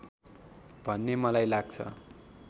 भन्ने मलाई लाग्छ